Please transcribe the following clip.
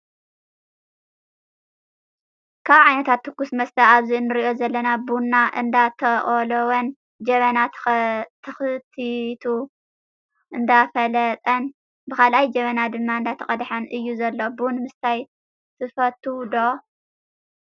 ካብ ዓይነታት ትኩስ መስተ ኣብዚ እንሪኦ ዘለና ቡና እንዳተቆሎወን ጀበና ተክቲቱ እንዳፈለጠን ብካልኣይ ጀበና ድማ እንዳተቀደሐን እዩ ዘሎ። ቡን ምስታይ ትፈትው ዶ?